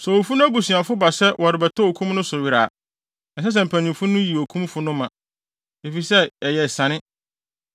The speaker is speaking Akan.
Sɛ owufo no abusuafo ba sɛ wɔrebɛtɔ okum no so were a, ɛnsɛ sɛ mpanyimfo no yi okumfo no ma, efisɛ ɛyɛ esiane.